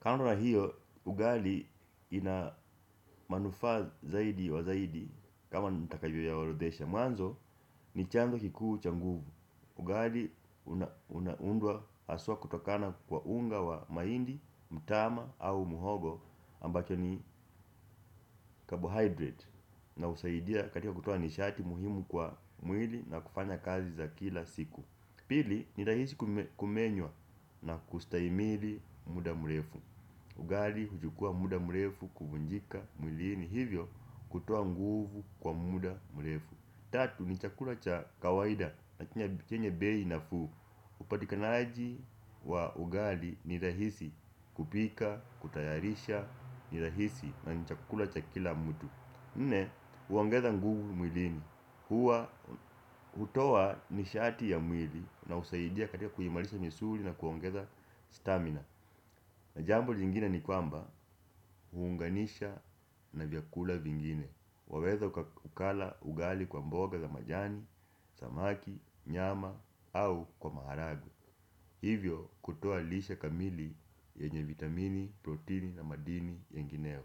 Kwa hiyo, ugali inamanufa zaidi wa zaidi kama nitakavyo yaorodhesha. Mwanzo ni chanzo kikuu cha nguvu. Ugali unaundwa haswa kutokana kwa unga wa mahindi, mtama au muhogo, ambacho ni carbohydrate. Na husaidia katika kutoa nishati muhimu kwa mwili na kufanya kazi za kila siku. Pili, ni rahisi kumenywa na kustahimili muda mrefu. Ugali hujukua muda mrefu kuvunjika mwilini, hivyo hutoa nguvu kwa muda mrefu. Tatu, ni chakula cha kawaida na chenye bei nafuu. Upatikanaji wa ugali ni rahisi kupika, kutayarisha ni rahisi na ni chakula cha kila mtu. Nne, huongeza nguvu mwilini. Hutoa nishati ya mwili na husaidia katika kuimarisha misuri na kuongeza stamina. Na jambo jingine ni kwamba, huunganisha na vyakula vingine. Waweza ukala ugali kwa mboga za majani, samaki, nyama au kwa maharage. Hivyo kutoa lishe kamili yenye vitamini, protini na madini yengineyo.